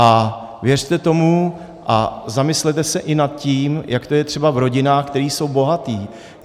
A věřte tomu a zamyslete se i nad tím, jak to je třeba v rodinách, které jsou bohaté.